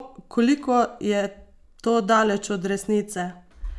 Koliko je to daleč od resnice?